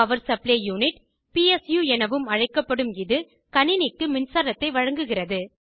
power supply unit PSU எனவும் அழைக்கப்படும் இது கணினிக்கு மின்சாரத்தை வழங்குகிறது